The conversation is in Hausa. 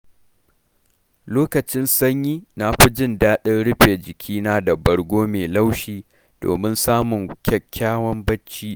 Lokacin sanyi, na fi jin daɗin rufe jikina da bargo mai laushi, domin samun kyakkyawan barci.